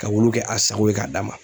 Ka wulu kɛ a sago ye k'a d'a ma.